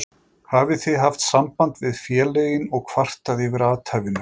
Hafið þið haft samband við félögin og kvartað yfir athæfinu?